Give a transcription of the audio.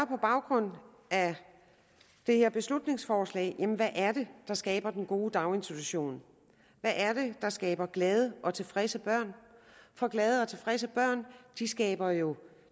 på baggrund af det her beslutningsforslag jamen hvad er det der skaber den gode daginstitution hvad er det der skaber glade og tilfredse børn for glade og tilfredse børn skaber jo